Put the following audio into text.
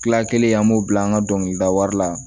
Kila kelen an b'o bila an ka dɔnkilidawari la